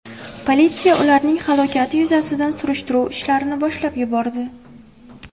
Politsiya ularning halokati yuzasidan surishtiruv ishlarini boshlab yubordi.